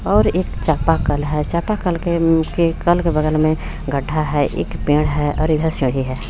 और एक चपाकल हे चपाकल के ऊ के चपाकल के बगल मे गड्ढा हे एक पेड़ हे और इधर सीडी हे.